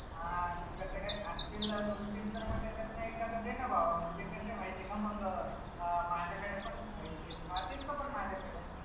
अं तुझ्याकडं असेल दोन, तीन तर म त्यांच्यातन एखादा देन बाबा म्हनजे कस ए माहितीय का मग अं माझ्याकडे पन राहिलंय ते राहतील का पन माझ्याकडे?